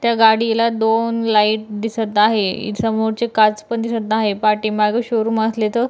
त्या गाडीला दोन लाइट दिसत आहे समोरची काच पण दिसत आहे पाठीमागे शोरूम असले त--